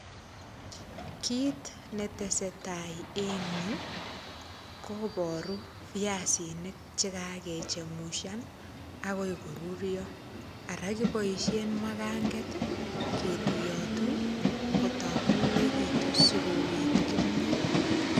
Kit ne tesetai en yuu, koboru viasinik chekakechemushan akoi korurio. Ara kiboisien muganget, ketuyatui, kotabululekitu sikouit kimyet.